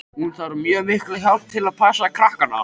Hún þarf mjög mikla hjálp við að passa krakkana.